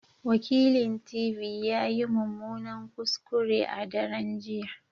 Wakilint.v ya yi mummunan kuskure a daren jiya